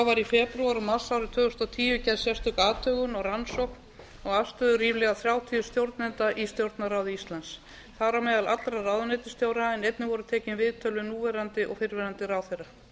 í febrúar og mars árið tvö þúsund og tíu gerð sérstök athugun og rannsókn á afstöðu ríflega þrjátíu stjórnenda í stjórnarráði íslands þar á meðal allra ráðuneytisstjóra en einnig voru tekin viðtöl við núverandi og fyrrverandi ráðherra